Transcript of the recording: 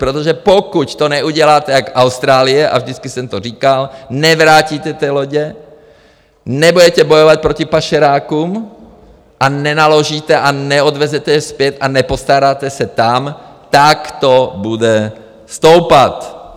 Protože pokud to neuděláte jako Austrálie, a vždycky jsem to říkal, nevrátíte ty lodě, nebudete bojovat proti pašerákům a nenaložíte a neodvezete je zpět a nepostaráte se tam, tak to bude stoupat.